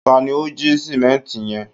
ta ni o ji simẹnti yẹn